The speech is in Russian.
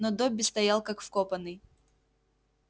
но добби стоял как вкопанный